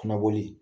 Kana boli